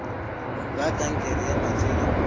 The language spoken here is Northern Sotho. la kankere ya matswele o